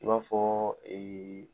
I b'a fɔɔ